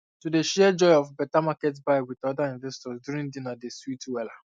to dey share joy of better market buy with other investors during dinner dey sweet wella